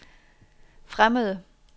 fremmede